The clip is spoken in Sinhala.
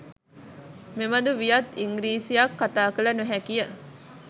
මෙබඳු වියත් ඉංගිරිසියක් කථා කළ නො හැකි ය